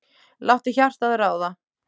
Láttu hjartað ráða.